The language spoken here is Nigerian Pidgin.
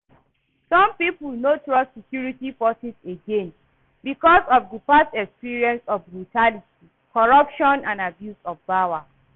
Some people no trust security forces again because of di past experiences of brutality, corruption and abuse of power.